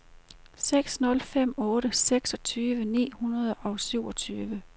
seks nul fem otte seksogtyve ni hundrede og syvogtyve